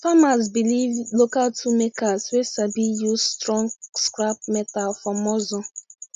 farmers belief local tool makers wey sabi use strong scrap metal for muscle